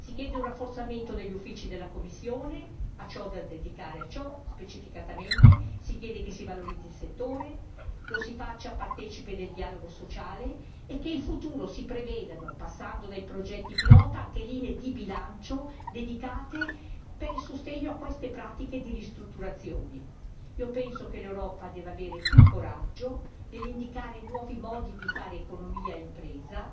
Si chiede un rafforzamento degli uffici della Commissione da dedicare a ciò, specificatamente si chiede che si valorizzi il settore, lo si faccia partecipe del dialogo sociale e che in futuro si prevedano passando dai progetti pilota anche linee di bilancio dedicate al sostegno a queste pratiche di ristrutturazioni. Penso che l'Europa debba avere più coraggio nell'indicare nuovi modi di fare economia e impresa,